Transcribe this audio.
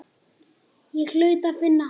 Ég hlaut að finna hana.